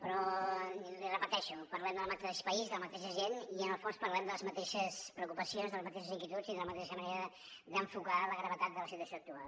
però l’hi repeteixo parlem del mateix país de la mateixa gent i en el fons parlem de les mateixes preocupacions de les mateixes inquietuds i de la mateixa manera d’enfocar la gravetat de la situació actual